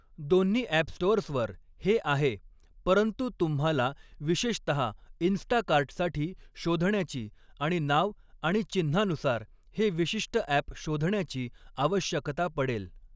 दोन्ही अॅप स्टोअर्सवर हे आहे, परंतु तुम्हाला विशेषतः 'इन्स्टाकार्ट' साठी शोधण्याची आणि नाव आणि चिन्हानुसार हे विशिष्ट अॅप शोधण्याची आवश्यकता पडेल.